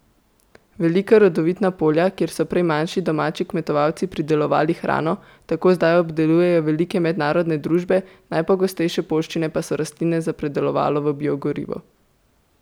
Velika rodovitna polja, kjer so prej manjši domači kmetovalci pridelovali hrano, tako zdaj obdelujejo velike mednarodne družbe, najpogostejše poljščine pa so rastline za predelovalo v biogorivo.